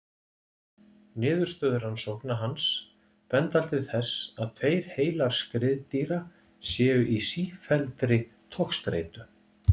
Niðurstöður rannsókna hans benda til þess að tveir heilar skriðdýra séu í sífelldri togstreitu.